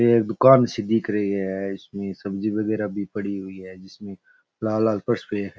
ये एक दुकान सी दिख रही है इसमें सब्जी बगेरा भी पड़ी हुई है जिसमें लाल लाल है।